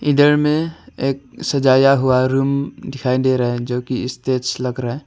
अंदर में एक सजाया हुआ रुम दिखाई दे रहा है जो कि स्टेज लग रहा है।